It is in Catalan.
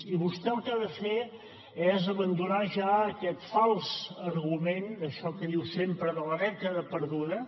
i vostè el que ha de fer és abandonar ja aquest fals argument d’això que diu sempre de la dècada perduda